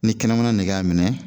Ni kɛnɛmana nege y'a minɛ